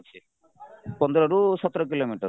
ପନ୍ଦରରୁ ସତର କିଲୋମିଟର